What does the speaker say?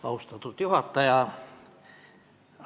Austatud juhataja!